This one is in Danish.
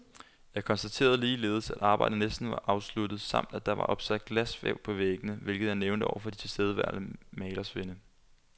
Jeg konstaterede ligeledes, at arbejdet næsten var afsluttet, samt at der var opsat glasvæv på væggene, hvilket jeg nævnte over for de tilstedeværende malersvende.